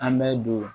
An bɛ don